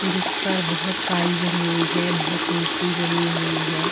जिसपर बोहोत काई जमी हुई है बोहोत मिटटी जमी हुई है।